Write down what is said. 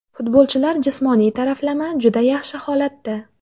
Futbolchilar jismoniy taraflama juda yaxshi holatda.